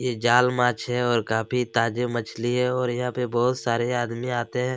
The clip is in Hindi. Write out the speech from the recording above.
ये जाल माछ है और काफी ताजा मछली है और यहाँ पर बहुत सारे आदमी आते हैं।